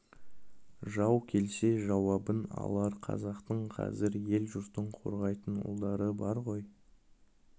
жау келсе жауабын алар қазақтың қазір ел-жұртын қорғайтын ұлдары бар ғой